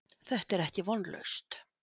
Þetta er ekki vonlaust.